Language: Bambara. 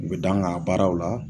U bi da n ga baaraw la